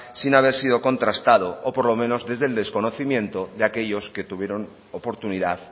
sin haber sido contrastado o por lo menos desde el desconocimiento de aquellos que tuvieron oportunidad